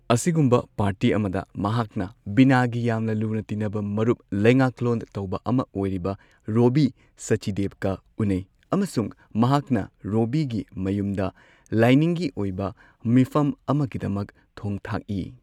ꯑꯁꯤꯒꯨꯝꯕ ꯄꯥꯔꯇꯤ ꯑꯃꯗ, ꯃꯍꯥꯛꯅ ꯕꯤꯅꯥꯒꯤ ꯌꯥꯝꯅ ꯂꯨꯅ ꯇꯤꯟꯅꯕ ꯃꯔꯨꯞ, ꯂꯩꯉꯥꯛꯂꯣꯟ ꯇꯧꯕ ꯑꯃ ꯑꯣꯏꯔꯤꯕ, ꯔꯣꯕꯕꯤ ꯁꯆꯗꯦꯕꯀ ꯎꯅꯩ, ꯑꯃꯁꯨꯡ ꯃꯍꯥꯛꯅ ꯔꯣꯕꯕꯤꯒꯤ ꯃꯌꯨꯝꯗ ꯂꯥꯏꯅꯤꯡꯒꯤ ꯑꯣꯏꯕ ꯃꯤꯐꯝ ꯑꯃꯒꯤꯗꯃꯛ ꯊꯣꯡ ꯊꯥꯛꯏ꯫